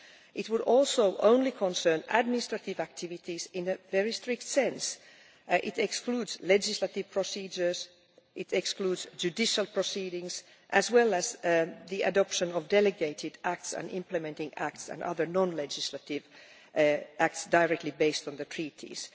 It would also concern only administrative activities in the strict sense. It excludes legislative procedures and it excludes judicial proceedings, as well as the adoption of delegated acts and implementing acts and other non legislative acts directly based on the Treaties.